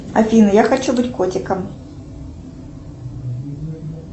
афина я хочу быть котиком